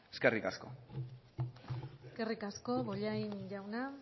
eskerrik asko eskerrik asko bollain jauna